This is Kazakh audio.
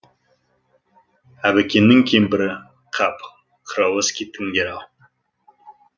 әбікеннің кемпірі қап құрауыз кеттіңдер ау